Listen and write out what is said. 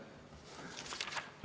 Aitäh!